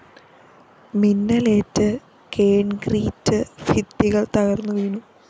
മിന്നലേറ്റ് concrete ഭിത്തികള്‍ തകര്‍ന്നുവീണു